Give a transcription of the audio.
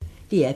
DR P1